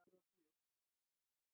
Þunglamaleg gluggatjöld fyrir gluggum.